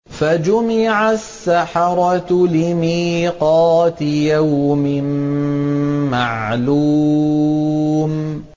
فَجُمِعَ السَّحَرَةُ لِمِيقَاتِ يَوْمٍ مَّعْلُومٍ